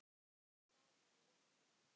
Það væri of mikið.